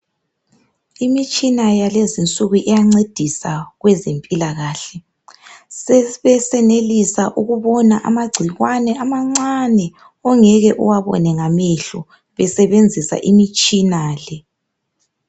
Imitshina yalezi insuku iyancedisa kwezempilakahle. Sesenelisa ukubona amagcikwane amancane ongeke uwabone ngamehlo esebenzisa imitshina le.